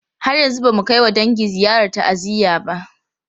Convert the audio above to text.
Har yanzu ba mu kai wa dangi ziyarar ta'aziyya ba.